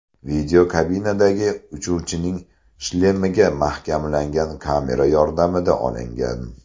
Video kabinadagi uchuvchining shlemiga mahkamlangan kamera yordamida olingan.